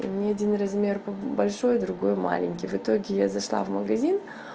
у меня один размер большой другой маленький в итоге я зашла в магазин